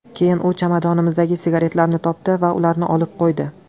Keyin u chamadonimizdagi sigaretlarni topdi va ularni olib qo‘ydi.